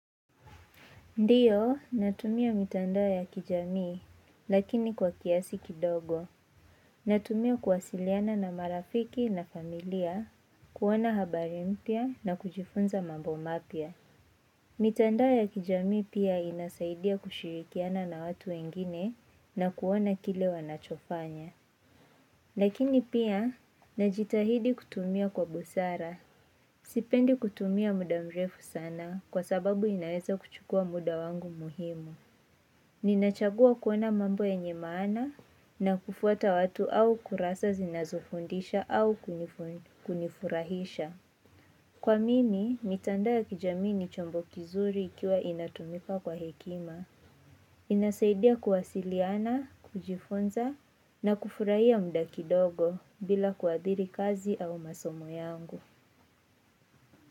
Ndiyo, natumia mitandao ya kijamii, lakini kwa kiasi kidogo. Natumia kuwasiliana na marafiki na familia, kuona habari mpya na kujifunza mambo mapya. Mitandao ya kijamii pia inasaidia kushirikiana na watu wengine na kuona kile wanachofanya. Lakini pia, najitahidi kutumia kwa busara. Sipendi kutumia muda mrefu sana kwa sababu inaweza kuchukua muda wangu muhimu. Ninachagua kuona mambo yenye maana na kufuata watu au kurasa zinazofundisha au kunifurahisha. Kwa mimi, mitandao ya kijamii ni chombo kizuri ikiwa inatumika kwa hekima. Inasaidia kuwasiliana, kujifunza na kufurahia muda kidogo bila kuathiri kazi au masomo yangu.